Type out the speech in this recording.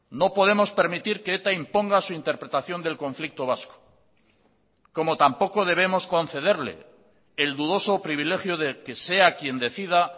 no podemos permitir que eta imponga su interpretación del conflicto vasco como tampoco debemos concederle el dudoso privilegio de que sea quien decida